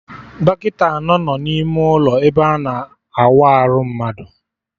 Dọkịta anọ no n'ime ụlọ ebe ana awa arụ mmadụ